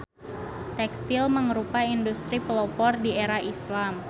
Tekstil mangrupa industri pelopor di era Islam.